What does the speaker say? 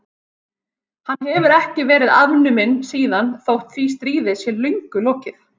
Hann hefur ekki verið afnuminn síðan þótt því stríði sé löngu lokið.